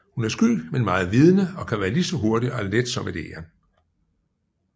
Hun er sky men meget vidende og kan være lige så hurtig og let som et egern